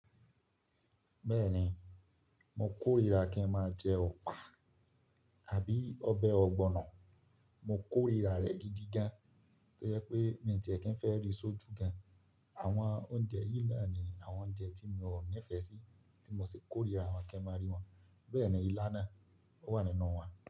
Bẹ́ẹ̀ni, mo kórira kí n máa jẹ ọ̀pá àbí ọbẹ̀ ọ̀gbọ̀nọ̀. Mo kórira rẹ̀ gidi gan, tó yẹ pé mi ò ní tẹ̀ẹ́ kí n fẹ́ rí sójú gan. Àwọn oúnjẹ yìí na ní àwọn oúnjẹ tí mi ò nífẹ̀ẹ́ sí, tí mo sì kórira wọ́n kí n máa rí wọn. Bẹ́ẹ̀ni ilá náà, ó wà nínú wọn.